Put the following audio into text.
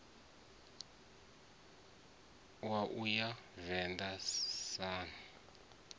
wa u ya venḓa sun